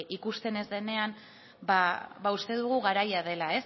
ikusten ez denean ba uste dugu garaia dela